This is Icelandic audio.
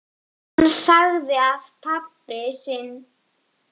Hann sagði að pabbi sinn vissi allt um málið.